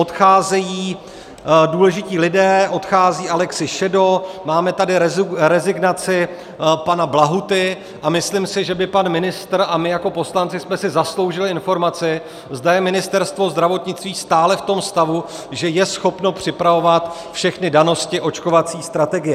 Odcházejí důležití lidé, odchází Alexi Šedo, máme tady rezignaci pana Blahuty a myslím si, že by pan ministr a my jako poslanci jsme si zasloužili informaci, zda je Ministerstvo zdravotnictví stále v tom stavu, že je schopno připravovat všechny danosti očkovací strategie.